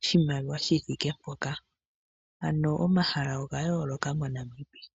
oshimaliwa shi thike mpoka. Omahala oga yooloka moNamibia.